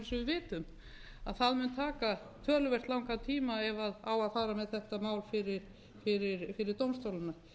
vitum mun það taka töluvert langan tíma ef á að fara með þetta mál fyrir dómstólana